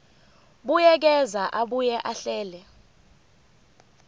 buyekeza abuye ahlele